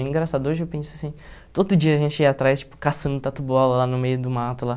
É engraçado, hoje eu penso assim, todo dia a gente ia atrás, tipo, caçando tatu-bola lá no meio do mato, lá.